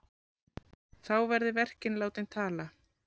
Þá verði verkin látin tala.